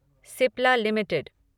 Cipla limited